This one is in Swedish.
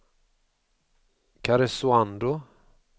Karesuando